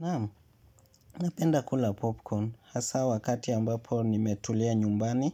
Naam, napenda kula popcorn hasa wakati ambapo nimetulia nyumbani